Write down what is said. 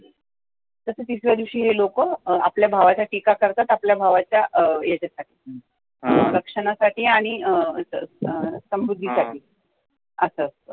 तसं तिसऱ्या दिवशी हे लोकं आपल्या भावाची करतात आपल्या भावाच्या ह्याच्या साठी रक्षणासाठी आणी अं समृद्धी साठी. असं असत